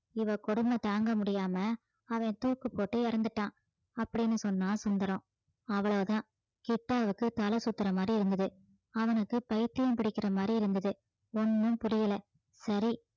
இவ கொடுமை தாங்க முடியாம அவன் தூக்கு போட்டு இறந்துட்டான் அப்படீன்னு சொன்னான் சுந்தரம் அவ்வளவுதான் கிட்டாவுக்கு தலை சுத்துற மாதிரி இருந்தது அவனுக்கு பைத்தியம் பிடிக்கிற மாதிரி இருந்தது ஒண்ணும் புரியல சரி